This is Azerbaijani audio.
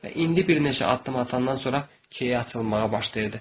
Və indi bir neçə addım atandan sonra key açılmağa başlayırdı.